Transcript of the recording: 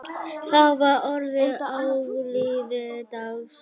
Þá var orðið áliðið dags.